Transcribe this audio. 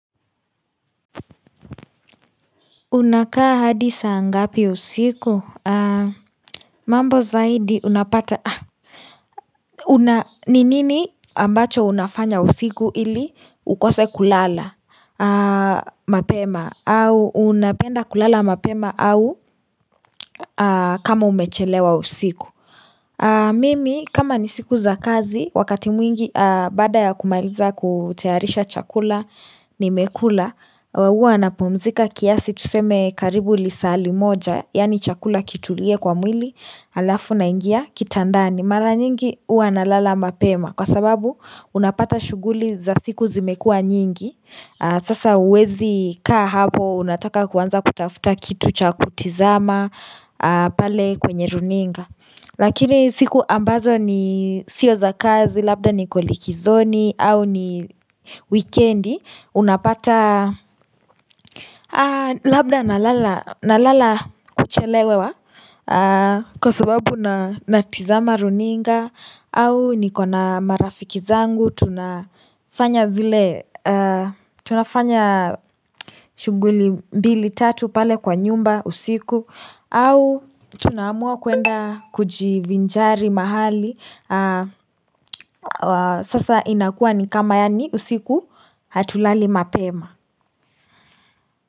Unakaa hadisaa ngapi usiku mambo zaidi unapata ni nini ambacho unafanya usiku ili ukose kulala mapema au unapenda kulala mapema au kama umechelewa usiku Mimi kama ni siku za kazi wakati mwingi baada ya kumaliza kutayarisha chakula ni mekula huwa na pumzika kiasi tuseme karibu lisaali moja Yaani chakula kitu lie kwa mwili alafu na ingia kitandani Mara nyingi huwa na lala mapema Kwa sababu unapata shughuli za siku zimekua nyingi Sasa uwezi kaa hapo unataka kuanza kutafuta kitu cha kutizama pale kwenye runinga Lakini siku ambazo ni sio za kazi, labda ni koliki zoni, au ni weekendi, unapata labda na lala kuchelewe kwa sababu na tizama runinga, au ni kona marafiki zangu, tunafanya vile, tunafanya shughuli mbili tatu pale kwa nyumba usiku au tunaamua kwenda kujivinjari mahali Sasa inakua ni kama yaani usiku hatulali mapema.